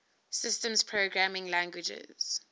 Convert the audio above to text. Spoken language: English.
systems programming languages